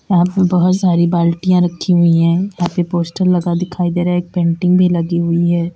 यहां पे बोहोत सारी बाल्टिया रखी हुई हैं। यहां पे पोस्टर लगा दिखाई दे रहा है। एक पेंटिंग भी लगी हुई है।